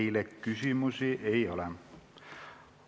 Teile küsimusi ei ole.